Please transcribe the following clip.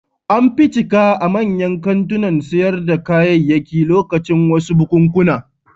An fi cika a manyan kantunan sayar da kayayyaki lokacin wasu bukunkuna.